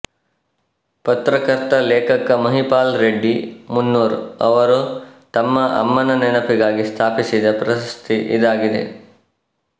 ಪತ್ರಕರ್ತ ಲೇಖಕ ಮಹಿಪಾಲರೆಡ್ಡಿ ಮುನ್ನೂರ್ ಅವರು ತಮ್ಮ ಅಮ್ಮನ ನೆನಪಿಗಾಗಿ ಸ್ಥಾಪಿಸಿದ ಪ್ರಶಸ್ತಿ ಇದಾಗಿದೆ